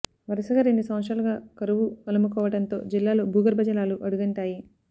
వరుసగా రెండు సంవత్సరాలుగా కరువు అలముకోవడంతో జిల్లాలో భూగర్భ జలాలు అడుగంటా యి